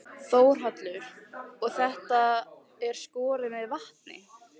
Þórhallur: Og þetta er skorið með vatni?